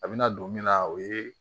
A bɛna don min na o ye